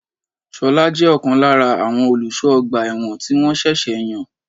Ṣolá jẹ́ ọ̀kan lára àwọn olùsọ ọgbà ẹ̀wọ̀n tí wọn ṣẹ̀ṣẹ̀ yàn.